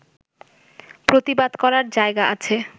প্রতিবাদ করার জায়গা আছে